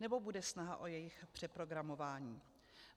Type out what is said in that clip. Nebo bude snaha o jejich přeprogramování?